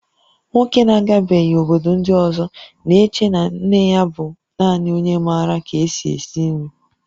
Nwoke na-agabeghị obodo ndị ọzọ na-eche na nne ya bụ naanị onye maara ka-esi esi nri